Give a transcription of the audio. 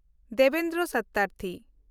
Debendra Satyarthi